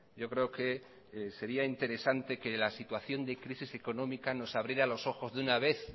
yo creo que sería interesante que la situación de crisis económica nos abriera los ojos de una vez